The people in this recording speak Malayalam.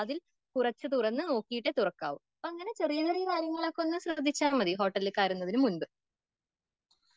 കുറച്ച് തുറന്ന് നോക്കീട്ടെ തുറക്കാവൂ.അങ്ങനെ ചെറിയ ചെറിയ കാര്യങ്ങൾ ശ്രദ്ധിച്ചാൽ മതി ഹോട്ടലിൽ കയറുന്നതിന് മുമ്പ്.